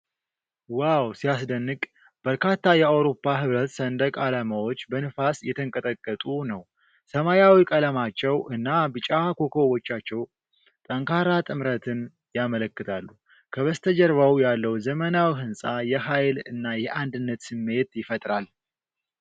ዋው ሲያስደንቅ! በርካታ የአውሮፓ ህብረት ሰንደቅ አላማዎች በነፋስ እየተንቀጠቀጡ ነው። ሰማያዊ ቀለማቸው እና ቢጫ ኮከቦቻቸው ጠንካራ ጥምረትን ያመለክታሉ። ከበስተጀርባው ያለው ዘመናዊ ህንፃ የኃይል እና የአንድነት ስሜት ይፈጥራል።